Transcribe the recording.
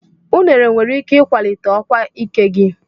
Unere nwere ike ịkwalite ọkwa ike gị.